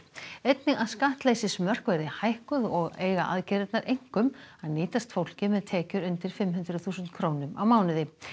einnig að skattleysismörk verði hækkuð og eiga aðgerðirnar einkum að nýtast fólki með tekjur undir fimm hundruð þúsund krónum á mánuði